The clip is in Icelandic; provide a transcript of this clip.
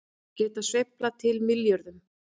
Geta sveiflað til milljörðum